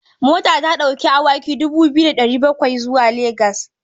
Mota ta ɗauki awaki dubu biyu da ɗari bakwai zuwa Legas.